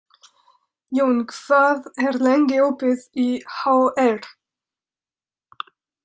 Jón, hvað er lengi opið í HR?